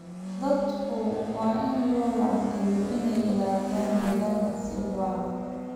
Dadku waa in loo wacyigeliyaa inay ilaaliyaan deegaanka si waara.